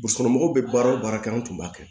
Burusi kɔnɔ mɔgɔw bɛ baara o baara kɛ anw tun b'a kɛ